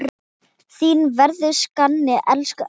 Þín verður saknað, elsku afi.